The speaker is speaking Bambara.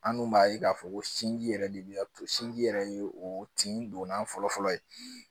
An dun b'a ye k'a fɔ ko sinji yɛrɛ de bɛ to sinji yɛrɛ ye o tin donna fɔlɔ fɔlɔ ye